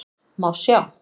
Má sjá